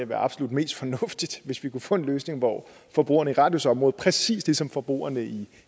være absolut mest fornuftigt hvis vi kunne få en løsning hvor forbrugerne i radius område præcis ligesom forbrugerne i